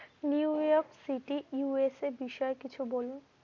New York city USA বিষয়ে কিছু বলুন?